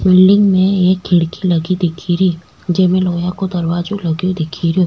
Building में एक खिड़की लगी दिख री जेम लोहा को दरवाजो लगो दिख रो।